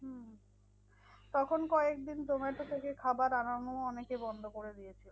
তখন কয়েকদিন zomato থেকে খাবার আনানো অনেকে বন্ধ করে দিয়েছিলো।